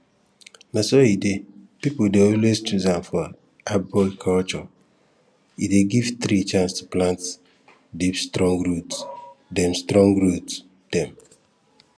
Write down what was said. na so e dey people dey always choose am for arboriculture e dey give tree chance to plant deep strong root dem strong root dem